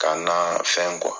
Ka na fɛn